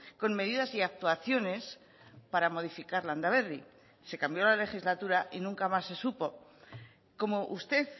con medidas y actuaciones para modificar landaberri se cambió la legislatura y nunca más se supo como usted